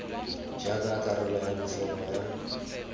jaaka karolo ya bofelo ya